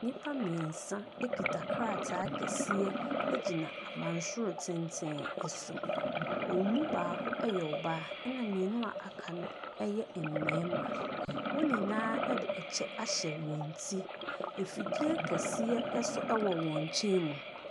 Nnipa mmeɛnsa kita krataa kɛseɛ gyina abansoro tenten so. Wɔn mu baako yɛ ɔbaa na mmienu a wɔaka no yɛ mmarima. Wɔn nyinaa de kyɛ ahyɛ wɔn ti. Afidie kɛseɛ nso wɔ wɔn nkyɛn mu.